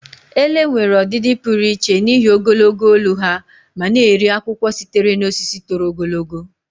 Ele nwere ọdịdị pụrụ iche n'ihi ogologo olu ha ma na-eri akwụkwọ sitere na osisi toro ogologo.